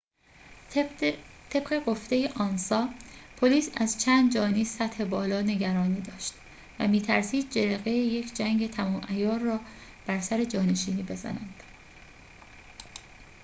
طبق گفته آنسا پلیس از چند جانی سطح بالا نگرانی داشت و می‌ترسید جرقه یک جنگ تمام‌عیار را بر سر جانشینی بزنند